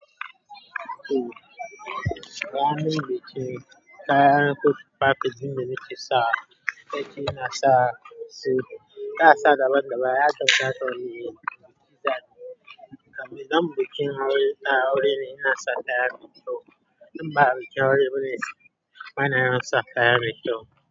Eh, gaba nawa yake, kaya ɗin kotu parkage din da muke sa, yace ina sa su, ba'a sa daban-daban, ya ce wata wuri ne, zamu je wurin aure ina sa kayan me kyau, inba a wuce aure bana yawan sa kayan kyau.